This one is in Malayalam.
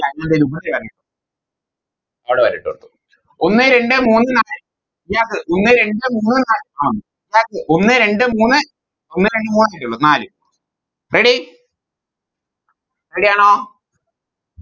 ഒന്ന് രണ്ട് മൂന്ന് നാല് Gas ഒന്ന് രണ്ട് മൂന്ന് നാല് ആഹ് Gas ഒന്ന് രണ്ട് മൂന്ന് നാല് Ready Ready ആണോ